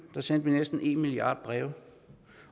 der sendte vi næsten en milliard breve